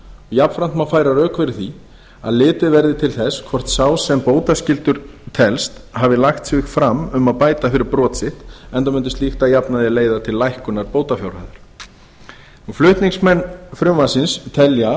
jafnframt má færa rök fyrir því að litið verði til þess hvort sá sem bótaskyldur telst hafi lagt sig fram um að bæta fyrir brot sitt enda mundi slíkt að jafnaði leiða til lækkunar bótafjárhæðar flutningsmenn frumvarpsins telja